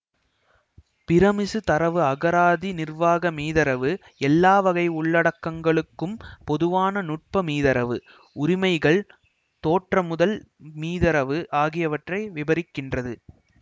பிறமிசு தரவு அகராதி நிர்வாக மீதரவு எல்லா வகை உள்ளடக்கங்களுக்கும் பொதுவான நுட்ப மீதரவு உரிமைகள்தோற்றமுதல் மீதரவு ஆகியவற்றை விபரிக்கின்றது